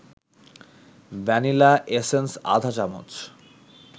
vanilla essence আধা চা-চামচ